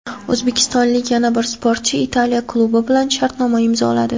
O‘zbekistonlik yana bir sportchi Italiya klubi bilan shartnoma imzoladi.